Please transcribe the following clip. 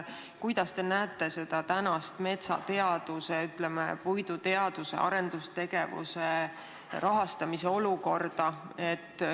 Kuidas te hindate tänast metsateaduse või, ütleme, puiduteaduse arendustegevuse rahastamise seisu?